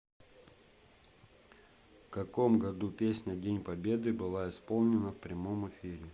в каком году песня день победы была исполнена в прямом эфире